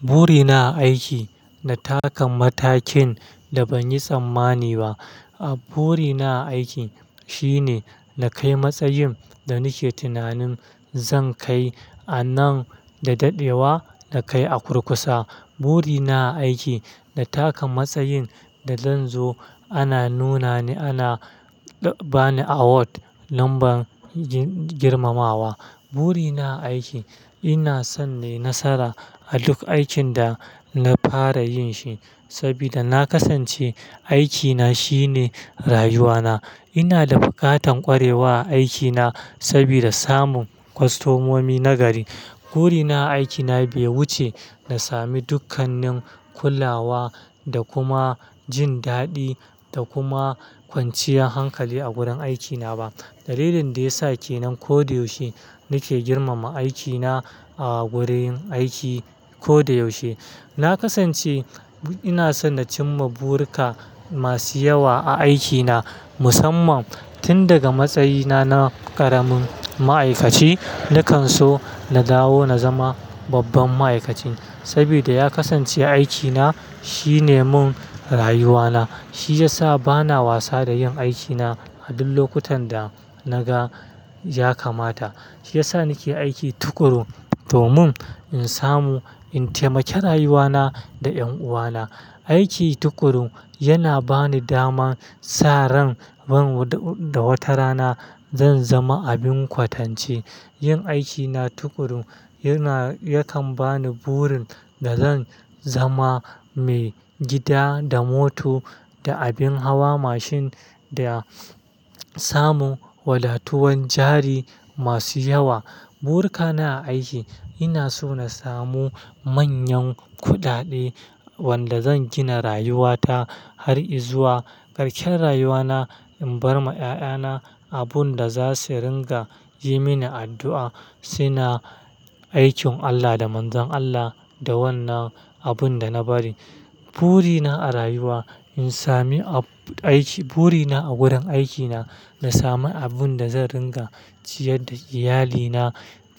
Buri na a aiki, na taka matakin da ban yi tsammani ba. A buri na a aiki shine na kai matsayin da nake tunanin zan kai a nan da dadewa, na kai a kurkusa. Buri na aiki, na taka matsayin da zan zo ana nuna ni, ana ba ni award lambar girmawa. Buri na a aiki, ina son nai nasara a duk aikin da na fara yin shi saboda na kasance aikina shine rayuwana. Ina da buƙatan kwarewa a aikina sabida samun kwastomomi nagari. Buri na a aikina bai wuce na sami dukkanin kulawa da kuma jin daɗi da kuma kwanciyar hankali a gurin aikina ba. Dalilin da ya sa kenan ko da yaushe nake girmama aikina a gurin aiki ko da yaushe. Na kasance ina son na cimma burika masu yawa a aikina musamman tun daga matsayina na ƙaramin ma'aikaci. Na kan so na dawo na zama babban ma'aikaci saboda ya kasance aikina shine mun rayuwana. Shi ya sa bana wasa da yin aikina a duk lokutan da naga ya kamata. Shi ya sa nake aiki tuƙuru domin in samu in taimake rayuwana da ƴan uwana. Aiki tuƙuru yana ba ni daman sa ran ban da wata rana zan zama abin kwatance. Yin aikina tuƙuru yana yakan ba ni burin da zan zama mai gida da mota da abin hawa mashin da samun wadatuwan jari masu yawa. Burika na a aiki ina so na samu manyan kuɗaɗe wanda zan gina rayuwata har izuwa karshen rayuwana in bar ma ƴaƴana abun da za su ringa yi mini addu'a. Suna aikin Allah da manzon Allah da wannan abun da na bari. Buri na a rayuwa in sami aiki, buri na a gurin aikina na sami abun da zan ringa ciyar da iyalina